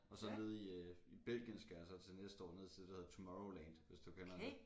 Og så nede i øh i Belgien skal jeg så til næste år ned til det der hedder Tomorrowland hvis du kender det